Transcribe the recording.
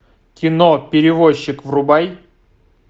кино перевозчик врубай